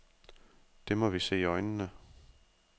Det må vi se i øjnene.